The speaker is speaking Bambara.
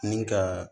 Ni ka